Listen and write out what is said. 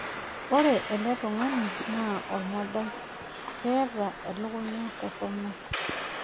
Ore ele tungani naa olmodai, keeta elekunya toronok.